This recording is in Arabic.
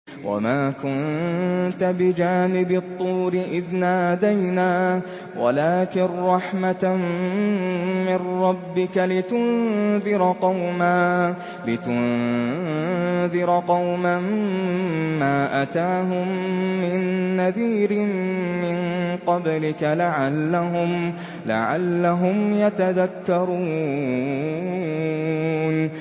وَمَا كُنتَ بِجَانِبِ الطُّورِ إِذْ نَادَيْنَا وَلَٰكِن رَّحْمَةً مِّن رَّبِّكَ لِتُنذِرَ قَوْمًا مَّا أَتَاهُم مِّن نَّذِيرٍ مِّن قَبْلِكَ لَعَلَّهُمْ يَتَذَكَّرُونَ